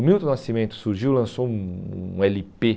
O Milton Nascimento surgiu e lançou um um ele pê.